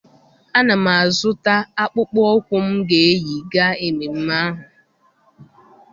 Ana m azụta akpụkpọ ụkwụ m ga-eyi gaa ememme ahụ.